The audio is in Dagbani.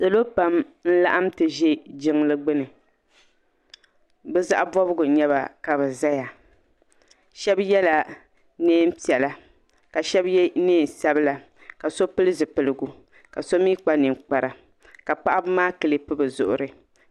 Salo pam n-laɣim ti ʒe jiŋli gbuni bɛ zaɣ'bɔbigu n-nyɛ ba ka bɛ zaya shɛba yela neem'piɛla ka shɛba ye neen'sabila ka so pili zipiligu ka so mi kpa ninkpara ka paɣiba maa kilipi bɛ zuɣuri.